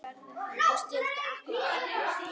Og skyldi akkúrat engan undra!